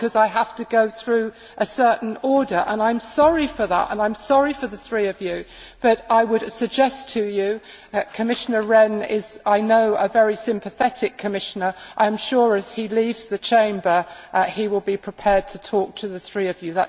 I have to go through a certain order and I am sorry for that. I am sorry for the three of you, but I would suggest to you that, as Commissioner Rehn is, I know, a very sympathetic commissioner, I am sure that as he leaves the Chamber, he will be prepared to talk to the three of you.